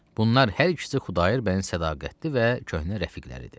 Bunlar hər ikisi Xudayar bəyin sədaqətli və köhnə rəfiqləridir.